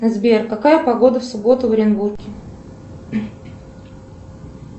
сбер какая погода в субботу в оренбурге